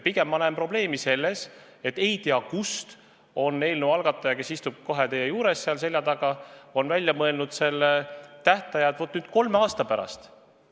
Pigem ma näen probleemi selles, et ei tea kust on eelnõu algataja, kes istub kohe seal teie selja taga, välja mõelnud selle tähtaja, et tähtaeg olgu kolm aastat.